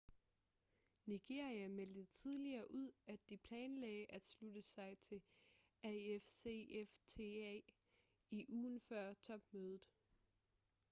nigeria meldte tidligere ud at de planlagde at slutte sig til afcfta i ugen før topmødet